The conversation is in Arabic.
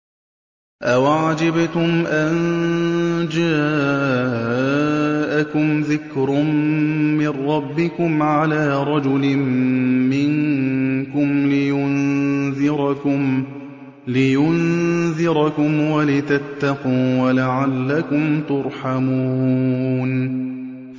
أَوَعَجِبْتُمْ أَن جَاءَكُمْ ذِكْرٌ مِّن رَّبِّكُمْ عَلَىٰ رَجُلٍ مِّنكُمْ لِيُنذِرَكُمْ وَلِتَتَّقُوا وَلَعَلَّكُمْ تُرْحَمُونَ